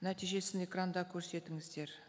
нәтижесін экранда көрсетіңіздер